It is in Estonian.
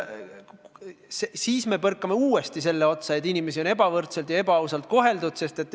Siis põrkame uuesti selle otsa, et inimesi on ebavõrdselt ja ebaausalt koheldud.